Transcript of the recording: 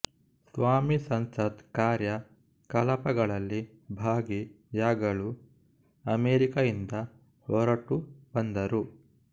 ಸ್ವಾಮಿ ಸಂಸತ್ ಕಾರ್ಯ ಕಲಾಪಗಳಲ್ಲಿ ಭಾಗಿ ಯಾಗಲು ಅಮೆರಿಕೆಯಿಂದ ಹೊರಟು ಬಂದರು